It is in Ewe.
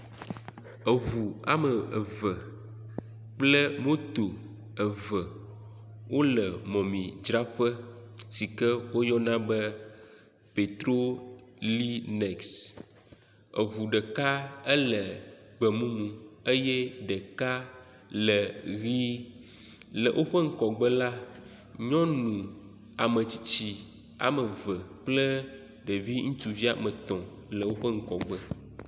Eŋu ame eve kple moto eve wole mɔmemidzraƒe si ke woyɔna be pɛtrolines. Eŋu ɖeka ele gbemumu eye ɖeka ele ʋɛ̃. Le woƒe ŋgɔgbe la, nyɔnu ametsitsi woame eve kple ɖevi ŋutsuvi woame etɔ̃ le woƒe ŋgɔgbe.